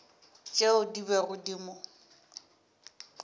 tšeo di bego di mo